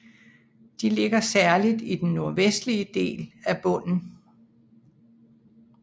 De ligger særligt i den nordvestlige del af bunden